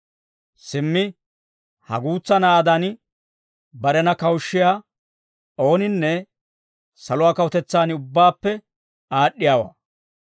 Simmi ha guutsa na'aadan, barena kawushshiyaa ooninne saluwaa kawutetsaan ubbaappe aad'd'iyaawaa.